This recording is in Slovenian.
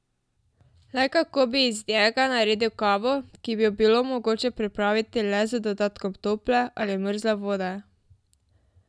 Le kako bi iz njega naredil kavo, ki bi jo bilo mogoče pripraviti le z dodatkom tople ali mrzle vode?